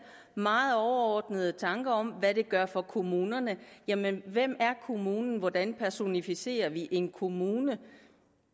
meget overordnede tanker om hvad det gør for kommunerne jamen hvem er kommunen hvordan personificerer vi en kommune